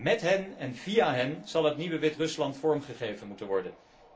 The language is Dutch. Met hen en via hen zal het nieuwe Wit Rusland vorm gegeven moeten worden.